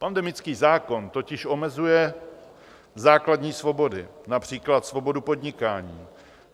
Pandemický zákon totiž omezuje základní svobody, například svobodu podnikání.